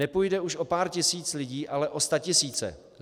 Nepůjde už o pár tisíc lidí, ale o statisíce.